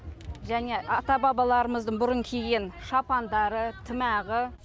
және ата бабаларымыздың бұрын киген шапандары тымағы